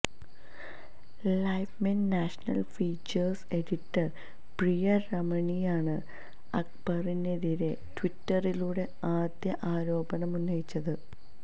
Livemint national features editor Priya രമണിയാണ് അക്ബറിനെതിരെ ട്വിറ്ററിലൂടെ ആദ്യം ആരോപണമുന്നയിച്ചത്